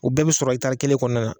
U bɛɛ bɛ sɔrɔ ikitari kelen kɔnɔna na.